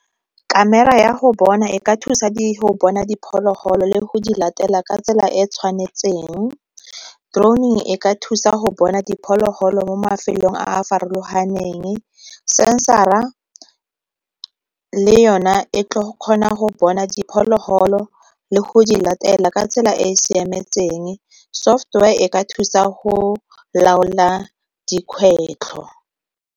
Camera ya go bona e ka thusa go bona diphologolo le go di latela ka tsela e e tshwanetseng, droning e ka thusa go bona diphologolo mo mafelong a a farologanen, g sensara le yona e kgona go bona diphologolo le go di latela ka tsela e e siametseng, software e ka thusa go laola dikgwetlho.